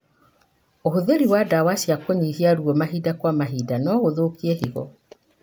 ũhũthĩri wa ndawa cia kũnyihia ruo mahinda kwa mahinda no gũthũke higo.